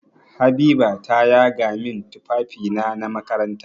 Habiba ta yaga min tufafina na makaranta.